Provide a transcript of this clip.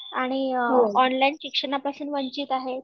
आणि अ ऑनलाईन शिक्षणापासून वंचित आहेत.